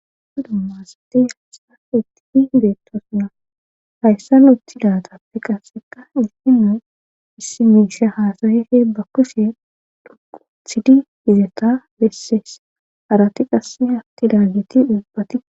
Duma dumma asati hayssa ittifi hibeetto suna hayssa lotidatappe qasseka issi nu issi migisha haasayife ba kushe duku thidi hizeta bessees arati qasse hatti daageti dhuphati